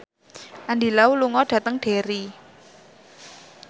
Andy Lau lunga dhateng Derry